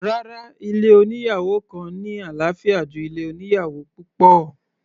Rárá, ilé oníyàwò kan ní àlàáfíà ju ilé oníyàwò púpọ̀.